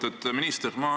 Lugupeetud minister!